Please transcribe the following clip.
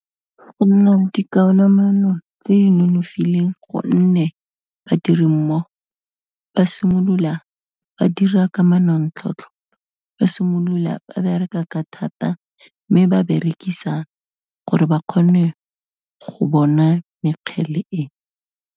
Go nna dikamano tse di nonofileng go nne badirimmogo ba simolola ba dira ka manontlhotlho, ba simolola ba bereka ka thata mme ba berekisa gore ba kgone go bona mekgele e.